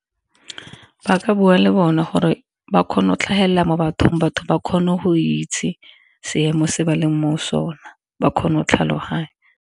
Ba ka bua le bona gore ba kgone go tlhagelela mo bathong, batho ba kgone go itse seemo se ba leng mo sone ba kgone go tlhaloganya.